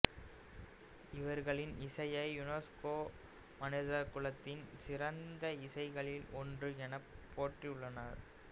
இவர்களின் இசையை யுனெசுக்கோ மனிதகுலத்தின் சிறந்த இசைகளில் ஒன்று எனப் போற்றியுள்ளது